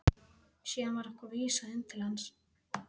Síðan var okkur vísað inn til hans.